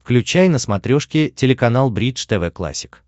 включай на смотрешке телеканал бридж тв классик